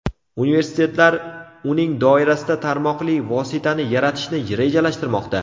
Universitetlar uning doirasida tarmoqli vositani yaratishni rejalashtirmoqda.